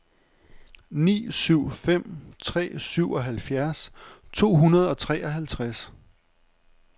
ni syv fem tre syvoghalvfjerds to hundrede og treoghalvtreds